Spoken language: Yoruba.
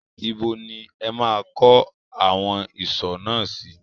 Ibo ni ẹ máa kọ́ awon ìsò náà sí?